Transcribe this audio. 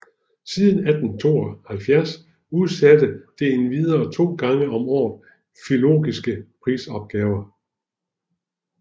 Siden 1872 udsatte det endvidere to gange om året filologiske prisopgaver